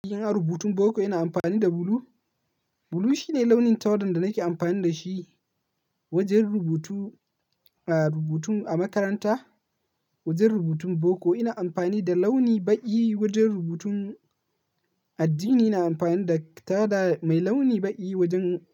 Ina rubutun boko ina amfani da blue. Blue shine launin tawada da nake amfani da shi, wajen rubutu, a rubutun a makaranta, Wajen rubutun boko, ina amfani da launi baƙi, wajen rubutun addini, ina amfani da tawada mai launi baƙi wajen,